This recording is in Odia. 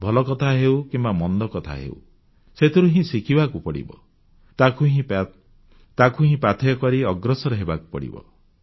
ଭଲକଥା ହେଉ କିମ୍ବା ମନ୍ଦକଥା ହେଉ ସେଥିରୁ ହିଁ ଶିଖିବାକୁ ପଡ଼ିବ ତାକୁ ହିଁ ପାଥେୟ କରି ଅଗ୍ରସର ହେବାକୁ ପଡ଼ିବ